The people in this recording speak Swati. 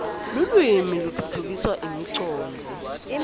lulwimi kutfutfukisa imicondvo